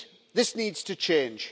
This needs to change.